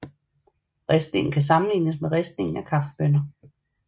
Ristningen kan sammenlignes med ristningen af kaffebønner